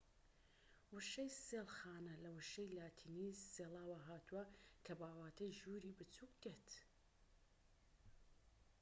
وشەی سێڵ خانە لە وشەی لاتینی سێڵاوە هاتووە کە بەواتای ژووری بچوك دێت